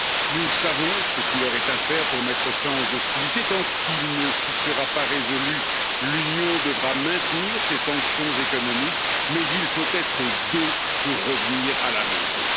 Nous savons ce qu'il aurait à faire pour mettre fin aux hostilités. Tant qu'il ne s'y sera pas résolu, l'Union devra maintenir ses sanctions économiques, mais il faut être deux pour revenir à la raison.